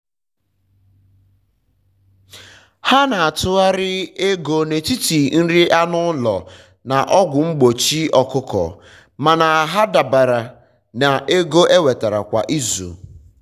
ha na-atụgharị ego n'etiti nri anụ ụlọ na ọgwụ mgbochi ọkụkọ. mana ha dabere na ego enwetara kwa izu